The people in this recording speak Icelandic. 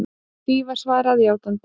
Því var svarað játandi.